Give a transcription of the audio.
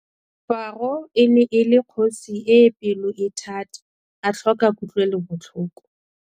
Faro e ne le kgosi e e pelo-e-thata a tlhoka kutlwelobotlhoko.